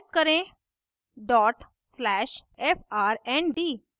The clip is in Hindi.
type करें: